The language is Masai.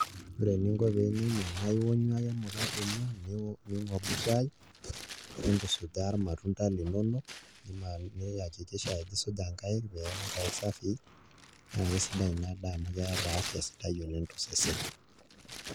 Ore eninko pee inya ina naa ionyu ake emukate ino ning'obu shaai nintusujaa irmatunda linonok niyakikisha ajo isuja nkaik peeku nkaik safii naa kesidai ina daa amu keeta afya sidai tosesen.